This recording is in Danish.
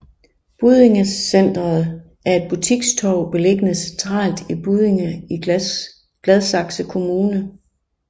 Buddinge Centret er et butikstorv beliggende centralt i Buddinge i Gladsaxe Kommune